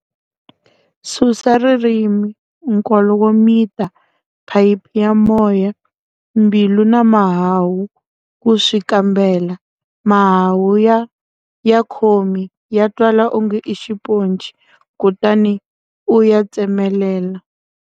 Susa ririmi, nkolo wo mita, phayiphi ya moya, mbilu na mahahu ku swi kambela-Mahahu-Ya khomi ya twala onge i xiponci kutani u ya tsemelela.